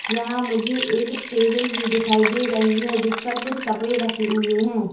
यहां मुझे एक टेबल भी दिखाई दे रही है जिस पर कुछ कपड़े रखे हुए हैं।